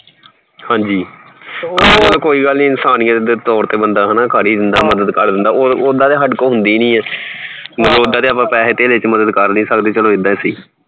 ਹਾਂਜੀ ਕੋਈ ਨਹੀਂ ਇਨਸਾਨੀਯਤ ਦੇ ਤੋਰ ਤੇ ਬੰਦਾ ਕਰ ਈ ਦੇਂਦਾ ਮਦਦ ਕਰ ਦੇਂਦਾ ਓਹਦਾ ਤੇ ਸਾਡੇ ਕੋਲ ਹੁੰਦੀ ਨੀ ਮਤਲਬ ਅੱਪਾਂ ਪੈਹੇ ਧੇਲੇ ਚ ਮਦਦ ਕਰ ਨੀ ਸਕਦੇ ਚਲੋ ਐਦਾਂ ਈ ਸਹੀ